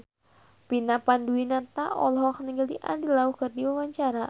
Vina Panduwinata olohok ningali Andy Lau keur diwawancara